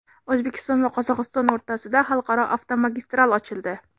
O‘zbekiston va Qozog‘iston o‘rtasida xalqaro avtomagistral ochildi.